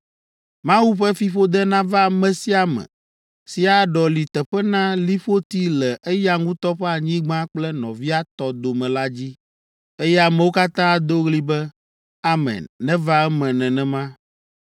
“Mawu ƒe fiƒode nava ame sia ame si aɖɔli teƒe na liƒoti le eya ŋutɔ ƒe anyigba kple nɔvia tɔ dome la dzi.” Eye ameawo katã ado ɣli be, “Amen; neva eme nenema!”